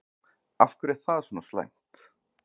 Af hverju er það svona slæmt?